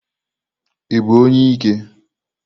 Ị bụ onye ike?